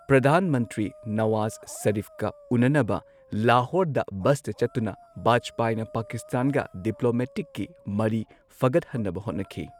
ꯄ꯭ꯔꯙꯥꯟ ꯃꯟꯇ꯭ꯔꯤ ꯅꯋꯥꯖ ꯁꯔꯤꯐꯀ ꯎꯅꯅꯕ ꯂꯥꯍꯣꯔꯗ ꯕꯁꯇ ꯆꯠꯇꯨꯅ ꯕꯥꯖꯄꯥꯏꯅ ꯄꯥꯀꯤꯁꯇꯥꯟꯒ ꯗꯤꯄ꯭ꯂꯣꯃꯦꯇꯤꯛꯀꯤ ꯃꯔꯤ ꯐꯒꯠꯍꯟꯅꯕ ꯍꯣꯠꯅꯈꯤ꯫